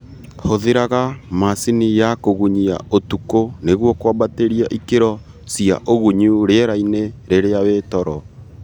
Hũthĩraga macini ya kũgunyia ũtukũ nĩguo kwambatĩria ikĩro cia ũgunyu rĩera-inĩ rĩrĩa wĩ toro